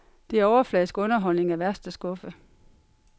Det er overfladisk underholdning af værste skuffe.